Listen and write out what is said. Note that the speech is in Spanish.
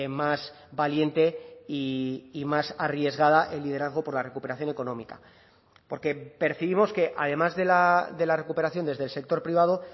más valiente y más arriesgada el liderazgo por la recuperación económica porque percibimos que además de la recuperación desde el sector privado